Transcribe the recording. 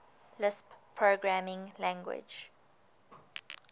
lisp programming language